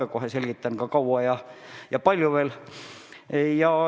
Ja kohe selgitan ka, kui kaua ja kui palju veel.